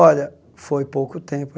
Olha, foi pouco tempo.